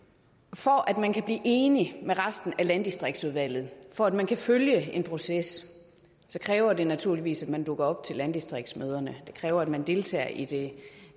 for at man kan blive enig med resten af landdistriktsudvalget for at man kan følge en proces så kræver det naturligvis at man dukker op til landdistriktsmøderne det kræver at man deltager i det